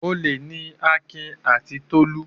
Olè ni Akin àti Tolú.